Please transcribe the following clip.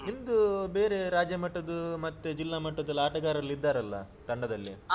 ನಿಮ್ದು ಬೇರೆ ರಾಜ್ಯಮಟ್ಟದು ಮತ್ತೆ ಜಿಲ್ಲಾಮಟ್ಟದೆಲ್ಲಾ ಆಟಗಾರರು ಇದ್ದರಲ್ಲಾ ತಂಡದಲ್ಲಿ.